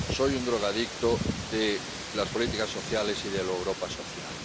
Soy un drogadicto de las políticas sociales y de la Europa social.